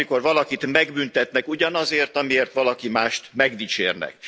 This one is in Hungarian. Azt, amikor valakit megbüntetnek ugyanazért, amiért valaki mást megdicsérnek.